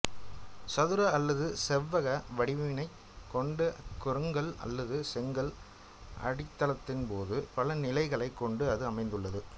சதுர அல்லது செவ்வக வடிவினைக் கொண்ட கருங்கல் அல்லது செங்கல் அடித்தளத்தின்போது பல நிலைகளைக் கொண்டு அது அமைந்துள்ளது